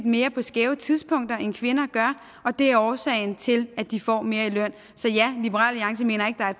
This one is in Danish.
mere på skæve tidspunkter end kvinder gør det er årsagen til at de får mere i løn så ja liberal alliance mener ikke der er